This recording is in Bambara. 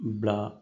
Bila